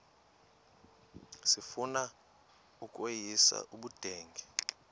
sifuna ukweyis ubudenge